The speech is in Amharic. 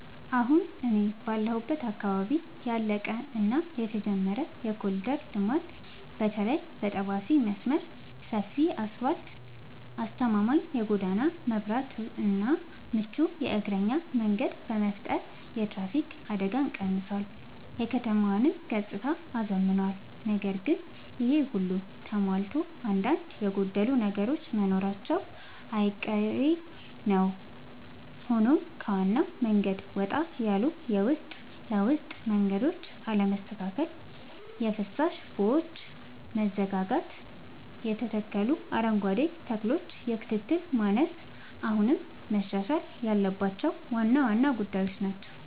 አሁን እኔ ባለሁበት አካባቢ ያለቀ እና የተጀመረ የኮሪደር ልማት (በተለይ የጠባሴ መስመር) ሰፊ አስፋልት: አስተማማኝ የጎዳና መብራትና ምቹ የእግረኛ መንገድ በመፍጠር የትራፊክ አደጋን ቀንሷል: የከተማዋንም ገጽታ አዝምኗል። ነገር ግን ይሄ ሁሉ ተሟልቶ አንዳንድ የጎደሉ ነገሮች መኖራቸው አይቀሬ ነዉ ሆኖም ከዋናው መንገድ ወጣ ያሉ የውስጥ ለውስጥ መንገዶች አለመስተካከል: የፍሳሽ ቦዮች መዘጋጋትና የተተከሉ አረንጓዴ ተክሎች የክትትል ማነስ አሁንም መሻሻል ያለባቸው ዋና ዋና ጉዳዮች ናቸው።